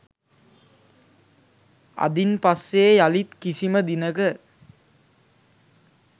අදින් පස්සේ යළිත් කිසිම දිනක